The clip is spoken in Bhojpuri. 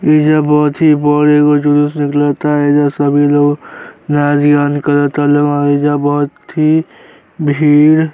एजा बहुत ही बड़ एगो जुलुस निकलता। एजा सभी लोग एजा बहुत ही भीड़ --